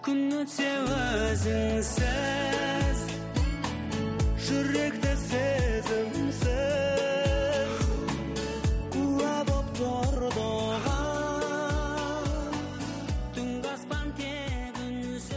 күн өтсе өзіңсіз жүрек те сезімсіз куә боп тұрды оған түнгі аспан тек